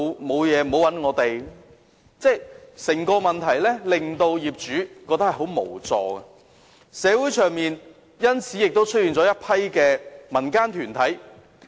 所以，整件事情令業主感到很無助，社會上因此亦出現了一些民間團體。